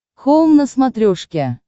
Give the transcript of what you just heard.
хоум на смотрешке